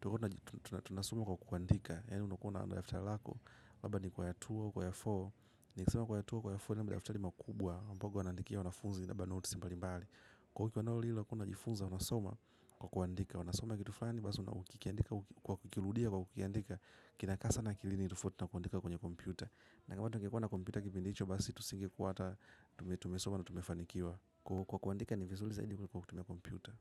Tulikuwa tunasoma kwa kuandika. Yaani ulikuwa na daftari lako. Labda ulikuwa na two by four, nikisema two by four, ni yale madaftari makubwa ambavyo wanaandikia wanafunzi kwa notes mbalimbali. Kwa hivyo wanasoma kwa kuandika wanasoma kitu fulani basi ukikiandika kwa kukiandika kinakaa sana akilini tofauti na kuandika kwenye kompyuta na kama tungekuwa na kompyuta kipindicho basi tusingekuwa hata tumetumesoma na tumefanikiwa. Kwa hiyo kuandika ni vizuri zaidi kuliko kutumia kompyuta.